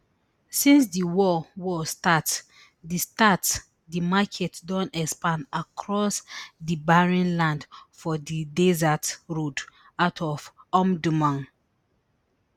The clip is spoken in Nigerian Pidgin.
since di war war start di start di market don expand across di barren land for di desert road out of omdurman